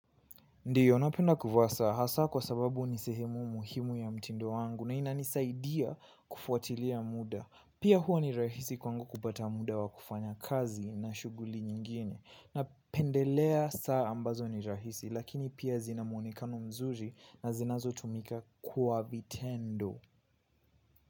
Ndiyo napenda kuvaa saa hasa kwa sababu ni sehemu muhimu ya mtindo wangu na inanisaidia kufuatilia muda. Pia huwa ni rahisi kwangu kupata muda wa kufanya kazi na shughuli nyingine. Napendelea saa ambazo ni rahisi lakini pia zina muonekano mzuri na zinazotumika kwa vitendo.